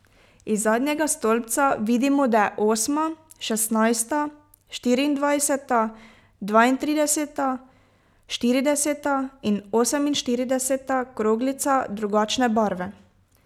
Iz zadnjega stolpca vidimo, da je osma, šestnajsta, štiriindvajseta, dvaintrideseta, štirideseta in oseminštirideseta kroglica drugačne barve.